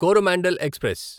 Coromandel express